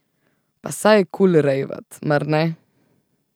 Pa saj je kul rejvat, mar ne.